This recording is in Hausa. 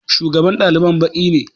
Shugaban ɗaliban baƙi ne